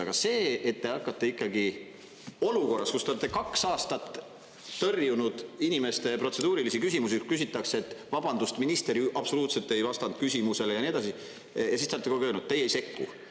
Aga see, et te hakkate ikkagi…olukorras, kus te olete kaks aastat tõrjunud inimeste protseduurilisi küsimusi, kui küsitakse, et vabandust, minister ju absoluutselt ei vastanud küsimusele ja nii edasi, siis te olete kogu aeg öelnud, et teie ei sekku.